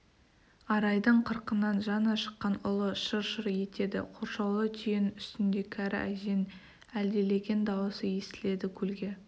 арайдың қырқынан жаңа шыққан ұлы шыр-шыр етеді қоршаулы түйенің үстінде кәрі әженің әлдилеген дауысы естіледі көлге